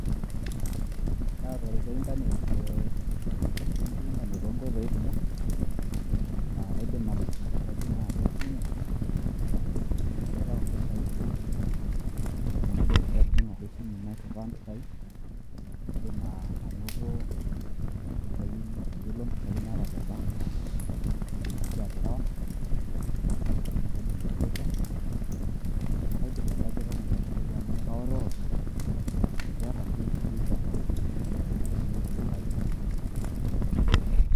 Atareto internet tee, ebenki e intanet too nkoitoi kumok aa akaidim atijing'a we esimu naitayu impisai, naa akaidim ake atijing'a atua esimu nairriwaa impisai. Kaidim anoto, atayiolo impisai naata te bank naa akaidim aisefa naa kaidim aibajeta nena pisai amu kaorriworr, eniata ebenki tofauti naashumikeki impisai.